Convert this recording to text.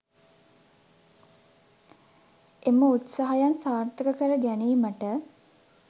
එම උත්සාහයන් සාර්ථක කර ගැනීමට